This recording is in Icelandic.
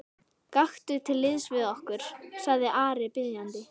Gakktu til liðs við okkur, sagði Ari biðjandi.